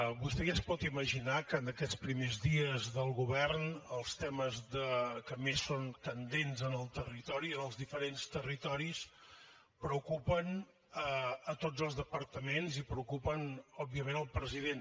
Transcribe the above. vostè ja es pot imaginar que en aquests primers dies del govern els temes que són més candents en el territori en els diferents territoris preocupen tots els departaments i preocupen òbviament el president